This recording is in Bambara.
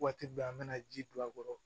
Waati bɛɛ an bɛna ji don a kɔrɔ